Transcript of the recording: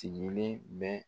Tiŋele bɛ